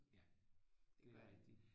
Ja det er rigtigt